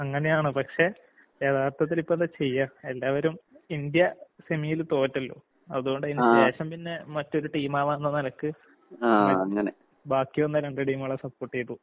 അങ്ങനെയാണ്. പക്ഷെ യഥാർത്ഥത്തിലിപ്പെന്താ ചെയ്യാ എല്ലാവരും ഇന്ത്യ സെമീല് തോറ്റല്ലോ, അതോണ്ടയിന് ശേഷം പിന്നെ മറ്റൊരു ടീമാവാന്ന നെലക്ക് ബാക്കിവന്ന രണ്ട് ടീമുകളെ സപ്പോട്ടെയ്തു.